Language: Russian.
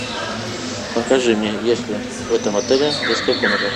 покажи мне есть ли в этом отеле детская комната